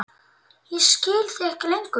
Ég skil þig ekki lengur.